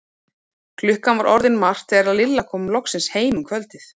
Klukkan var orðin margt þegar Lilla kom loksins heim um kvöldið.